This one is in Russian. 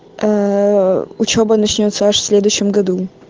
учёба начнётся аж в следующем году